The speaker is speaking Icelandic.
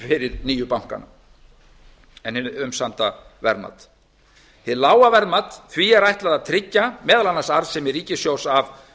fyrir nýju bankana en hið umsamda verðmat hinu lága verðmati er ætlað að tryggja meðal annars arðsemi ríkissjóðs af